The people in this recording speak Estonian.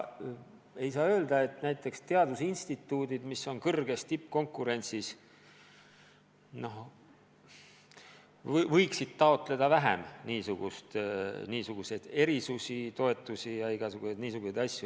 Ei saa ju näiteks teadusinstituudid, mis tegutsevad samuti suure tippkonkurentsi tingimustes, niisuguseid erisusi ja toetusi taotleda.